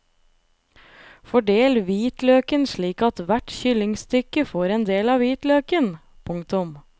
Fordel hvitløken slik at hvert kyllingstykke får en del av hvitløken. punktum